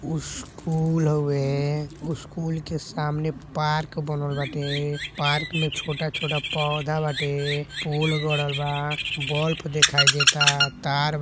school हवेस्कूल के सामने पार्क बनल बाटे पार्क मे छोटा-छोटा पौधा बाटे पोल गड़ल बा बल्ब दिखाई देतातार बा --